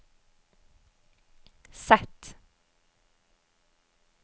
Z